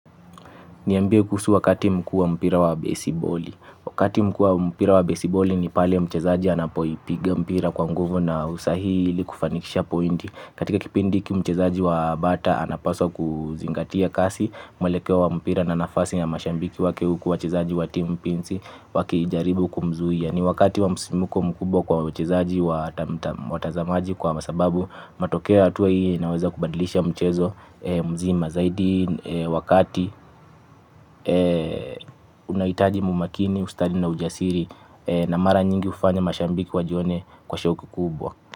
Niambie kuhusu wakati mkuu wa mpira wa besiboli. Wakati mkuu wa mpira wa besiboli ni pale mchezaji anapoipiga mpira kwa nguvu na usahihi ili kufanikisha pointi. Katika kipindi hiki mchezaji wa bata anapaswa kuzingatia kasi. Mwelekeo wa mpira na nafasi ya mashabiki wake huku wachezaji wa timu pinzi wakijaribu kumzuia ni wakati wa msisimuko mkubwa kwa wachezaji watazamaji kwa sababu matokeo ya hatua hii inaweza kubadilisha mchezo mzima zaidi wakati unahitaji umakini ustadi na ujasiri na mara nyingi hufanya mashabiki wajione kwa shoku kubwa.